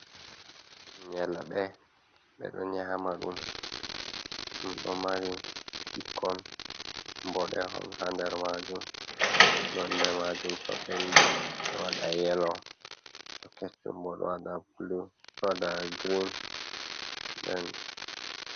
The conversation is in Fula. Nyalɓe ɓeɗo nyama ɗum, ɗo mari ɓikkon boɗehon ha nder majum, nonde majum to ɓendi ɗo waɗa yelo to kecchum bo ɗo waɗa bulu, ɗo waɗa girin nden.